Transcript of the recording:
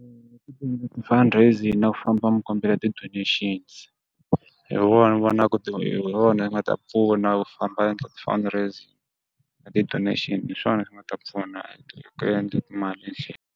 fund raising na ku famba mi kombela ti-donations. Hi wona ni vona ku ti hi hi wona wu nga ta pfuna ku famba u endla ti-fund raising na ti-donation hi swona swi nga ta pfuna ku endla timali etlhelo.